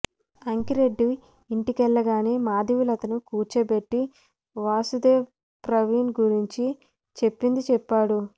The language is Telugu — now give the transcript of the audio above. అంకిరెడ్డి ఇంటికెళ్లగానే మాధవీలతను కూర్చోబెట్టి వాసుదేవ్ ప్రవీణ్ గురించి చెప్పింది చెప్పాడు